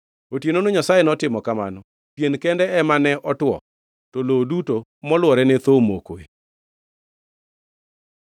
Otienono Nyasaye notimo kamano. Pien kende ema ne otwo; to lowo duto molwore ne thoo omoke.